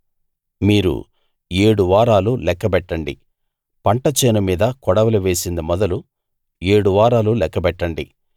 మీరు ఏడు వారాలు లెక్కబెట్టండి పంట చేను మీద కొడవలి వేసింది మొదలు ఏడు వారాలు లెక్కబెట్టండి